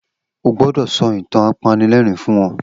O gbọdọ sọ itan apanilẹrin fun wọn!